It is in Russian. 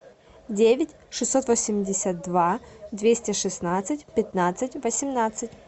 девять шестьсот восемьдесят два двести шестнадцать пятнадцать восемнадцать